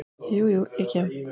Jú, jú, ég kem.